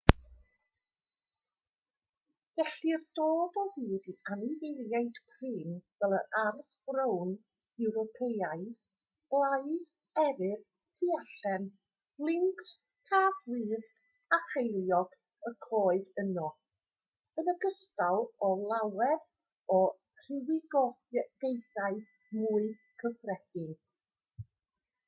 gellir dod o hyd i anifeiliaid prin fel yr arth frown ewropeaidd blaidd eryr tylluan lyncs cath wyllt a cheiliog y coed yno yn ogystal â llawer o rywogaethau mwy cyffredin